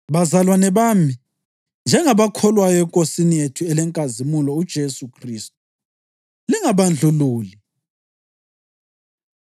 Bazalwane bami, njengabakholwayo eNkosini yethu elenkazimulo uJesu Khristu, lingabandlululi.